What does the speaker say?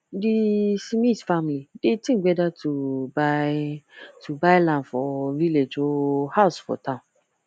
di smith family dey think whether to buy to buy land for village or house for town